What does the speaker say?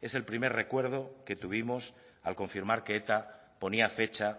es el primer recuerdo que tuvimos al confirmar que eta ponía fecha